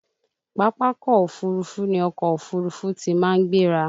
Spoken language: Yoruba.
Pápákọ̀ Òfurufú ni ọkọ̀ òfuurufú tí màá ń gbéra